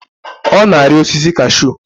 Ọ na-arị osisi cashu